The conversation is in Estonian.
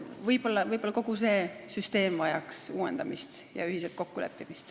Võib-olla vajaks kogu see süsteem uuendamist ja ühiselt kokkuleppimist.